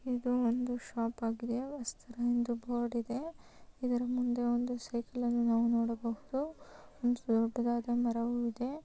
ಇದು ಒಂದು ಶಾಪ್ ಆಗಿದೆ ವತ್ಸಲಾ ಅಂತ ಬೋರ್ಡ ಇದೆ. ಇದರ ಮುಂದು ಒಂದೇ ಸೈಕಲ್ ನಾವು ನುಡಬಹುದು ಮತ್ತು ದೊಡ್ಡದಾದ ಮರವು ಇದೆ.